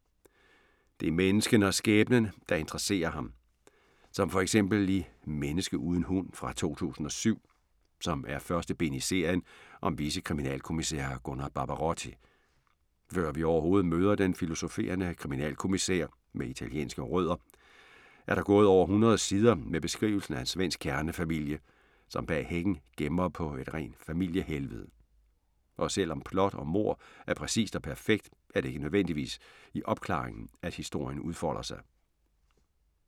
Det er menneskene og skæbnen, der interesserer ham. Som for eksempel i "Menneske uden hund" fra 2007, som er første bind i serien om vicekriminalkommissær Gunnar Barbarotti. Før vi overhovedet møder den filosoferende kriminalkommissær med italienske rødder, er der gået over 100 sider med beskrivelsen af en svensk kernefamilie, som bag hækken gemmer på et rent familiehelvede. Og selv om plot og mord er præcist og perfekt, er det ikke nødvendigvis i opklaringen, at historien udfolder sig.